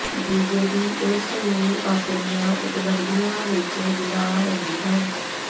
BJP ਇਸ ਨੂੰ ਆਪਣੀਆਂ ਉਪਲੱਬਧੀਆਂ ਵਿੱਚ ਗਿਣਾ ਰਹੀ ਹੈ